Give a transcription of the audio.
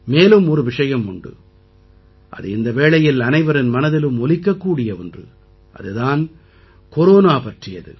மேலும் ஒரு விஷயம் உண்டு அது இந்த வேளையில் அனைவரின் மனதிலும் ஒலிக்கக்கூடிய ஒன்று அது தான் கொரோனா பற்றியது